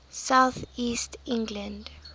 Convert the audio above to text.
south east england